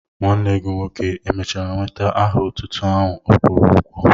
Nwanne gị nwoke èmèchara nweta aha otútú áhù ọ kwụrụ ụgwọ?